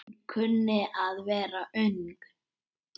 Hún kunni að vera ung.